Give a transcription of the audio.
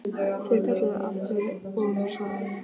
Þeir kölluðu aftur og nú svaraði ég.